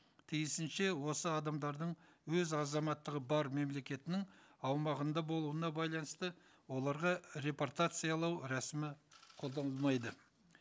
тиісінше осы адамдардың өз азаматтығы бар мемлекетінің аумағында болуына байланысты оларға репортациялау рәсімі қолданылмайды